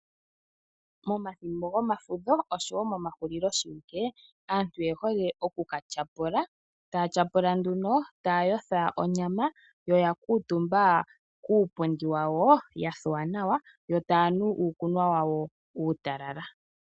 Momathimbo gomafudho oshowo momahulilo aantu oyehole oku katyapula taya tyapula nduno taya yotha onyama yo oya kuutumba puupundi wawo ya thuwa nawa yo tayanu iikunwa wawo uutalala.